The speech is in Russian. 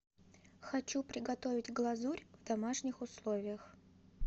хочу приготовить глазурь в домашних условиях